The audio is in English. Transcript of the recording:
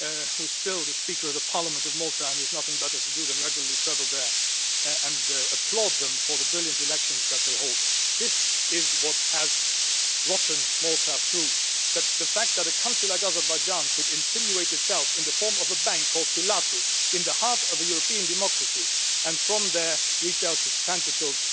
who is still the speaker of the Parliament of Malta and who has nothing better to do than regularly travel there and applaud them for the brilliant elections that they hold. This is what has rotted Malta through the fact that a country like Azerbaijan could insinuate itself in the form of a bank called Pilatus, in the heart of a European democracy, and from there reach out its tentacles